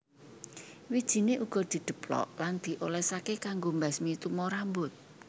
Wijiné uga didheplok lan diolèsaké kanggo mbasmi tumo rambut